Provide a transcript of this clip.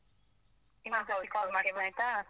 .